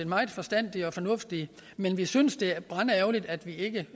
meget forstandige og fornuftige men vi synes at det er brandærgerligt at vi ikke